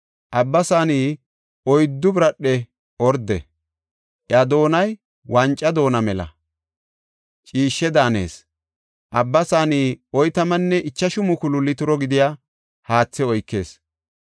Abba Saaney oyddu biradhe orde; iya doonay wanca doona mela; ciishshe daanees. Abba Saaney oytamanne ichashu mukulu litiro gidiya haathe oykees.